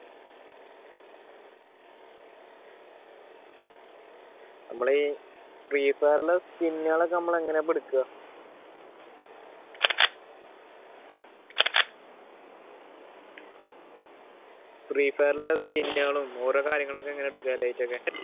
നമ്മൾ ഫ്രീഫയറിൽ സ്കിന്നുകളൊക്കെ എങ്ങനാ എടുക്കുക? ഫ്രീഫയറിൽ സ്കിന്നുകളും ഓരോ കാര്യങ്ങളൊക്കെ എങ്ങനാ എടുക്കാ light ഒക്കെ?